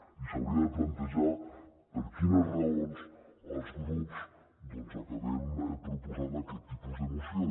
i s’hauria de plantejar per quines raons els grups acabem proposant aquest tipus de moció